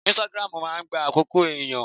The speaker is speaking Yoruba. Instagram máa ń gba àkókò ẹ̀yàn.